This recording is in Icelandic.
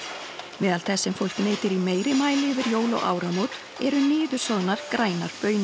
meðal þess sem fólk neytir í meiri mæli yfir jól og áramót eru niðursoðnar grænar baunir